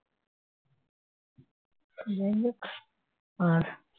যাই হোক আর